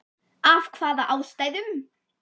Af hvaða ástæðum??????